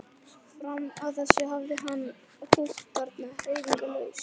Fram að þessu hafði hann húkt þarna hreyfingarlaus.